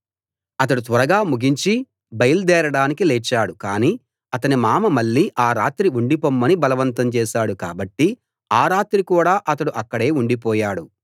అతడు త్వరగా ముగించి బయల్దేరడానికి లేచాడు కాని అతని మామ మళ్ళీ ఆ రాత్రి ఉండిపొమ్మని బలవంతం చేశాడు కాబట్టి ఆ రాత్రి కూడా అతడు అక్కడే ఉండిపోయాడు